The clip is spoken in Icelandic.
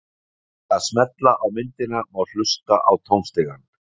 með því að smella á myndina má hlusta á tónstigann